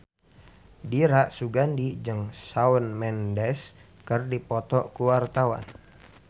Dira Sugandi jeung Shawn Mendes keur dipoto ku wartawan